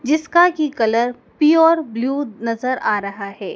जिसका की colour pure view नजर आ रहा है।